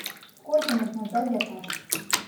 сколько нужно ждать заказ